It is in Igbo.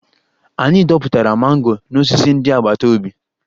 Anyị dọpụtara mango n'osisi ndị agbata obi